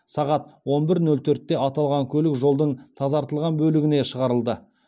сағат он бір нөл төртте аталған көлік жолдың тазартылған бөлігіне шығарылды